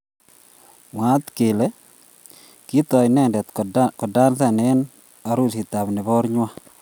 Mwaat kele kitook inendet kodansoni eng arusiitab nebarng'wa